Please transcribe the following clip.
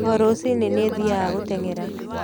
O rũciinĩ, niĩ thiaga gũteng'era.